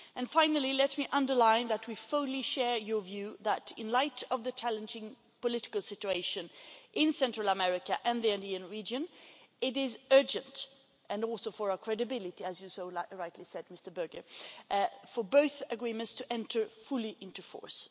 Finally, let me underline that we fully share your view that in light of the challenging political situation in Central America and the Andean region, it is urgent and also for our credibility as you so rightly said, Mr Böge for both Agreements to enter fully into force.